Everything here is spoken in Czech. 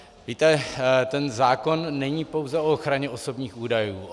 Víte, ten zákon není pouze o ochraně osobních údajů.